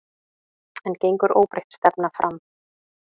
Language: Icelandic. En gengur óbreytt stefna áfram?